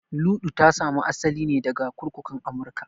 Luɗu ta sami asali ne daga kurkukun Amurka